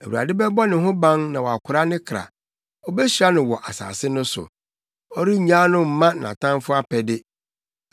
Awurade bɛbɔ ne ho ban na wakora ne kra; obehyira no wɔ asase no so; ɔrennyaa no mma nʼatamfo apɛde.